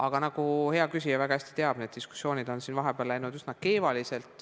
Aga nagu hea küsija väga hästi teab, need diskussioonid on siin vahepeal läinud üsna keevaliseks.